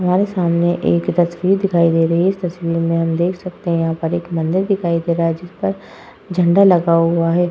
हमारे सामने एक तस्वीर दिखाई दे रही है। इस तस्वीर में हम देख सकते हैं यहाँ पर एक मंदिर दिखाई दे रहा है जिसपर झण्डा लगा हुआ है।